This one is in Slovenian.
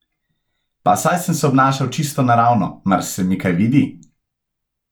Pa saj sem se obnašal čisto naravno, mar se mi kaj vidi?